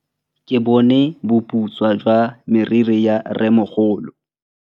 Ke bone boputswa jwa meriri ya rrêmogolo.